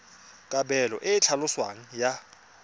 kabelo e e tlhaloswang ya